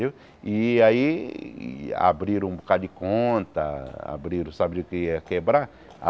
e aí abriram um bocado de conta, abriram sabiam que ia quebrar?